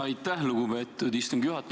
Aitäh, lugupeetud istungi juhataja!